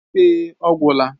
Èé, ọ gwụla.